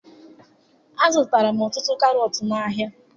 Azụtara m ọtụtụ karọtụ n'ahịa